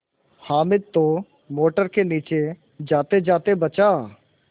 हामिद तो मोटर के नीचे जातेजाते बचा